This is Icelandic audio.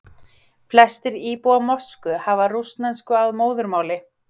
Flestir íbúa Moskvu hafa rússnesku að móðurmáli.